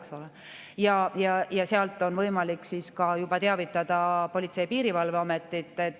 Selle põhjal on võimalik teavitada Politsei‑ ja Piirivalveametit.